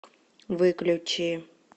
выключи